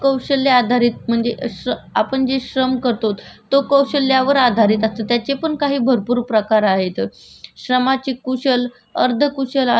श्रमाचे कुशल अर्धकुशल आणि अकुशल असे कौशल्यावर आधारित प्रकार आपण करू शकतो म्हणजे आपण श्रम करतो ते कुशल पद्धतीने करतो